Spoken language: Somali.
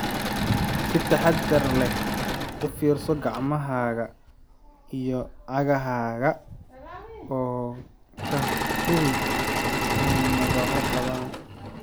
Si taxadar leh u fiirso gacmahaaga iyo cagahaaga, oo ka hubi inay nabarro qabaan.